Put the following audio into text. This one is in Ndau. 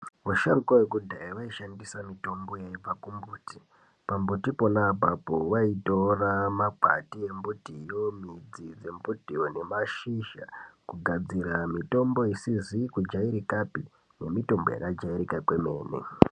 Vasharukwa vekudhaya vaishandisa mitombo yaibva kumbuti pambuti pona apapo vaitora makwati mudzi dzembitiyo ngemashizha kugadzira mitombo isizi kujairikapi nemitombo yakajairika kwemene.